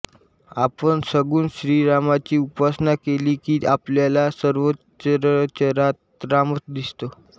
आपण सगुण श्रीरामाची उपासना केली की आपल्याला सर्वचराचरात रामच दिसतो